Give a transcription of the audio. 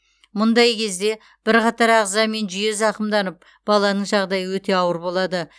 мұндай кезде бірқатар ағза мен жүйе зақымданып баланың жағдайы өте ауыр болады